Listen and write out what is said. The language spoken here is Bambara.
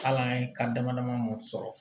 Hal'an ye kan dama dama mun sɔrɔ